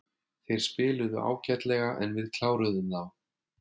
Þeir spiluðu ágætlega en við kláruðum þá.